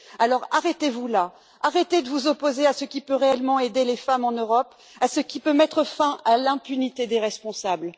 Alors arrêtez vous là, arrêtez de vous opposer à ce qui peut réellement aider les femmes en Europe, à ce qui peut mettre fin à l'impunité des responsables.